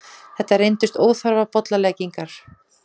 Þetta reyndust óþarfar bollaleggingar.